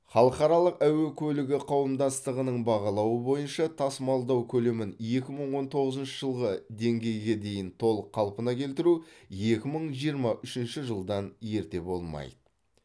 халықаралық әуе көлігі қауымдастығының бағалауы бойынша тасымалдау көлемін екі мың он тоғызыншы жылғы деңгейге дейін толық қалпына келтіру екі мың жиырма үшінші жылдан ерте болмайды